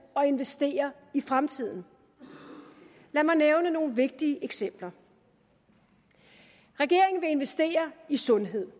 og investere i fremtiden lad mig nævne nogle vigtige eksempler regeringen vil investere i sundhed